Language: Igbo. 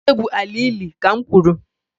Ị ga-egwu ala ili, ka m kwuru!